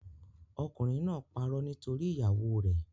Okùnrin náà parọ́ nítorí ìyàwóo rẹ̀.